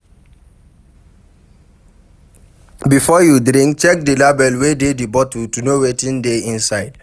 Before you drink, check di label wey dey di bottle to know wetin dey inside